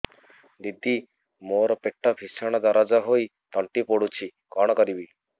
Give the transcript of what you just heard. ଦିଦି ମୋର ପେଟ ଭୀଷଣ ଦରଜ ହୋଇ ତଣ୍ଟି ପୋଡୁଛି କଣ କରିବି